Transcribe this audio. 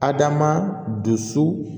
Adama dusu